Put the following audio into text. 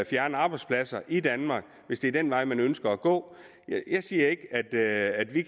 fjerner arbejdspladser i danmark hvis det er den vej man ønsker at gå jeg siger ikke at vi